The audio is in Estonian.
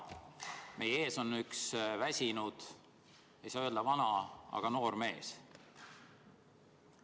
Meie ees on üks väsinud noor mees.